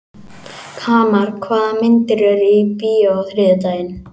Hamar, hvaða myndir eru í bíó á þriðjudaginn?